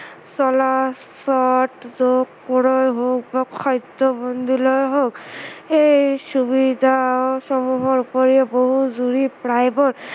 চলাচত যোগ কৰাই হওক বা খাদ্য়মন্ডলেই হওক এই সুবিধাসমূহৰ উপৰিও বহু প্ৰায়বোৰ